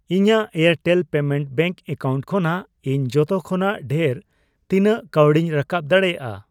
ᱤᱧᱟᱜ Airtel payment bank account ᱠᱷᱚᱱᱟᱜ ᱤᱧ ᱡᱚᱛᱚ ᱠᱷᱚᱱᱟᱜ ᱰᱷᱮᱨ ᱛᱤᱱᱟᱜ ᱠᱟᱣᱰᱤᱧ ᱨᱟᱠᱟᱯ ᱫᱟᱲᱮᱭᱟᱜᱼᱟ?